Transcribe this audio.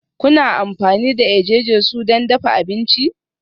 Kuna amfani da eje-jesu don dafa abinci?